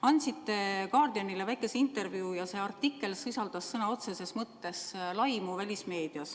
Andsite The Guardianile väikese intervjuu ja see artikkel sisaldas sõna otseses mõttes laimu.